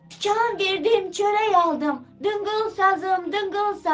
Tikan verdim çörək aldım, dıngıl sazım, dıngıl sazım.